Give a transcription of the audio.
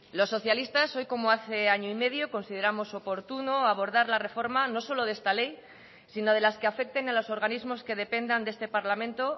los socialistas hoy como hace año y medio consideramos oportuno abordar la reforma no solo de esta ley sino de las que afecten a los organismos que dependan de este parlamento